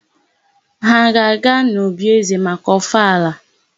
Ha a ga-aga n'òbí ézē maka ọfala?